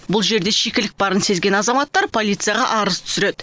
бұл жерде шикілік барын сезген азаматтар полицияға арыз түсіреді